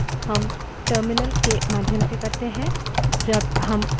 जब हम command का निष्पादन करते हैं हम साधारणतः keyboard से type करते हैं